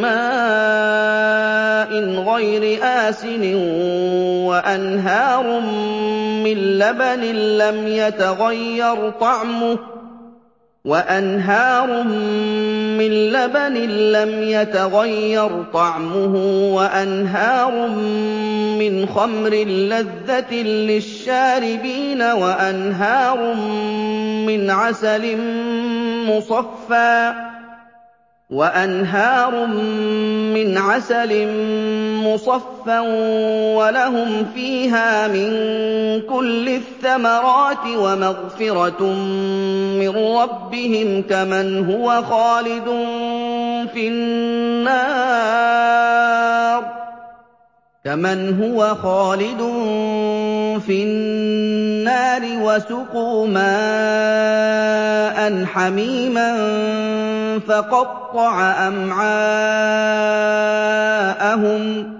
مَّاءٍ غَيْرِ آسِنٍ وَأَنْهَارٌ مِّن لَّبَنٍ لَّمْ يَتَغَيَّرْ طَعْمُهُ وَأَنْهَارٌ مِّنْ خَمْرٍ لَّذَّةٍ لِّلشَّارِبِينَ وَأَنْهَارٌ مِّنْ عَسَلٍ مُّصَفًّى ۖ وَلَهُمْ فِيهَا مِن كُلِّ الثَّمَرَاتِ وَمَغْفِرَةٌ مِّن رَّبِّهِمْ ۖ كَمَنْ هُوَ خَالِدٌ فِي النَّارِ وَسُقُوا مَاءً حَمِيمًا فَقَطَّعَ أَمْعَاءَهُمْ